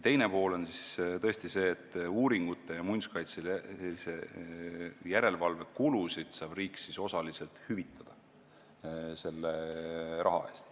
Teine pool on see, et selle raha eest saab riik uuringute ja muinsuskaitselise järelevalve kulusid osaliselt hüvitada.